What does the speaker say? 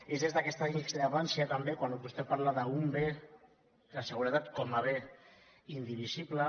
és des d’aquesta discrepància també quan vostè parla d’un bé de seguretat com a bé indivisible